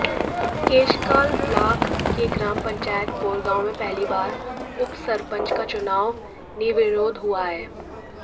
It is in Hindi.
केशकाल ब्लाक के ग्राम पंचायत कोरगांव में पहली बार उपसरपंच का चुनाव निर्विरोध हुआ है